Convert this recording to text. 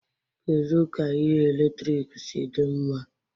Kedu ka ihe eletrik si dị mma?